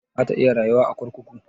Za ta iya rayuwa a kurkuku?